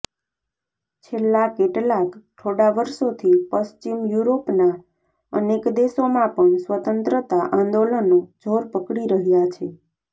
છેલ્લા કેટલાંક થોડા વર્ષોથી પશ્ચિમ યુરોપના અનેક દેશોમાં પણ સ્વતંત્રતા આંદોલનો જોર પકડી રહ્યાં છે